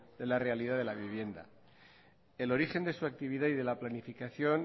de la realidad de la vivienda el origen de su actividad y de la planificación